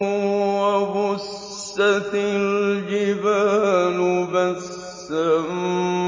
وَبُسَّتِ الْجِبَالُ بَسًّا